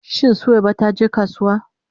Shin Suwaiba ta je kasuwa?